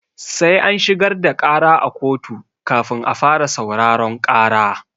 Sai an shigar da ƙara a koto kafin a fara sauraron ƙara.